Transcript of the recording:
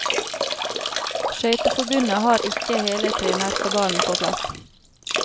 Skøyteforbundet har ikke hele trenerkabalen på plass.